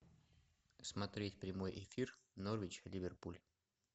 смотреть прямой эфир норвич ливерпуль